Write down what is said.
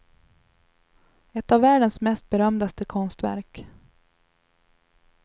Ett av världens mest berömdaste konstverk.